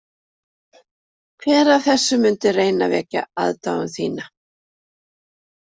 Hver af þeim mundi reyna að vekja aðdáun þína?